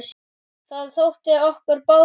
Það þótti okkur báðum gaman.